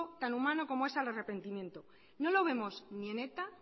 tan humano como es al arrepentimiento no lo vemos ni en eta